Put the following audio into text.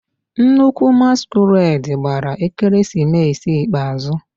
Nnukwu masquerade gbara ekeresimesi ikpeazụ.